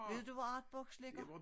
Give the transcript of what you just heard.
Ved du hvor artbox ligger?